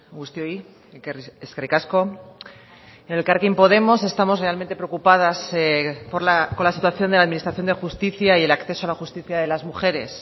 guztioi eskerrik asko en elkarrekin podemos estamos realmente preocupadas con la situación de la administración de justicia y el acceso a la justicia de las mujeres